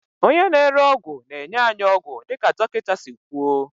onye na-ere ọgwụ na-enye anyị ọgwụ dịka dọkịta si kwuo